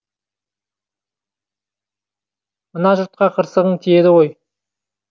мына жұртқа қырсығың тиеді ғой